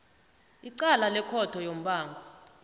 icala lekhotho yombango